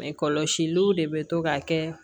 Mɛ kɔlɔsiliw de bɛ to ka kɛ